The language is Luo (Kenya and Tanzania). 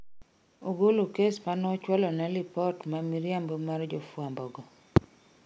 Ogolo kes manochwalo ne lipot ma miriambo mar jofwambo go